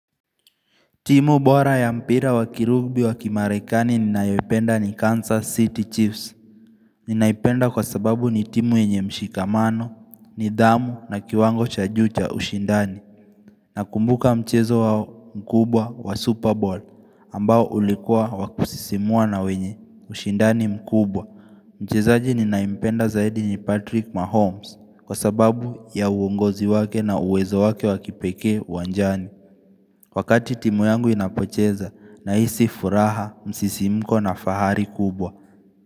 Timu bora ya mpira wakirugbi wakimarekani ninayopenda ni Kansas City Chiefs Ninaipenda kwa sababu ni timu yenye mshikamano, ni dhamu na kiwango cha juu cha ushindani na kumbuka mchezo wao mkubwa wa Super Bowl ambao ulikua wa kusisimua na wenye ushindani mkubwa Mchezaji ninayempenda zaidi ni Patrick Mahomes kwa sababu ya uongozi wake na uwezo wake wakipekee wanjani Wakati timu yangu inapocheza na hisi furaha msisimko na fahari kubwa.